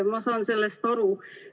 Ma saan sellest aru.